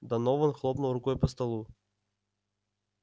донован хлопнул рукой по столу